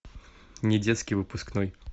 недетский выпускной